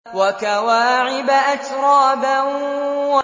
وَكَوَاعِبَ أَتْرَابًا